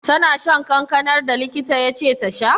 Tana shan kankanar da likita ya ce ta sha?